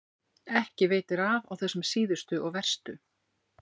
Ekki veitir af á þessum síðustu og verstu.